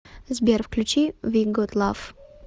сбер включи ви гот лав